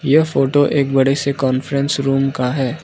यह फोटो एक बड़े से कॉन्फ्रेंस रूम का है।